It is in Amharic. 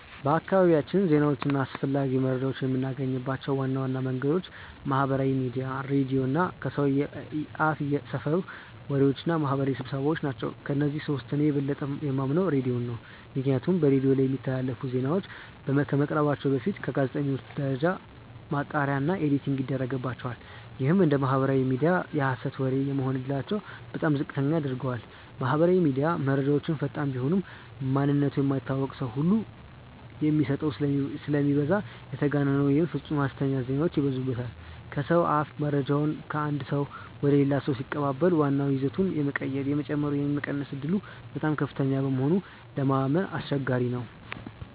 በአካባቢያችን ዜናዎችን እና አስፈላጊ መረጃዎችን የምናገኝባቸው ዋና ዋና መንገዶች ማህበራዊ ሚዲያ፣ ሬዲዮ እና ከሰው አፍየሰፈር ወሬዎች እና ማህበራዊ ስብሰባዎ ናቸው። ከእነዚህ ሶስቱ እኔ የበለጠ የማምነው ሬዲዮን ነው። ምክንያቱም በሬዲዮ ላይ የሚተላለፉ ዜናዎች ከመቅረባቸው በፊት በጋዜጠኞች ደረጃ ማጣሪያ እና ኤዲቲንግ ይደረግባቸዋል። ይህም እንደ ማህበራዊ ሚዲያ የሀሰት ወሬ የመሆን እድላቸውን በጣም ዝቅተኛ ያደርገዋል። ማህበራዊ ሚዲያ፦ መረጃው ፈጣን ቢሆንም፣ ማንነቱ የማይታወቅ ሰው ሁሉ የሚโพስተው ስለሚበዛ የተጋነኑ ወይም ፍፁም ሀሰተኛ ዜናዎች ይበዙበታል። ከሰው አፍ፦ መረጃው ከአንድ ሰው ወደ ሌላ ሰው ሲቀባበል ዋናው ይዘቱ የመቀየር፣ የመጨመር ወይም የመቀነስ ዕድሉ በጣም ከፍተኛ በመሆኑ ለማመን አስቸጋሪ ነው።